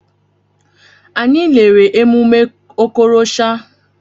Anyị lere emume Okorosha.